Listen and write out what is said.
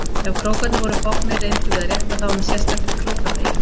Ef krókarnir voru bognir reyndum við að rétta þá með sérstakri króka- beygju.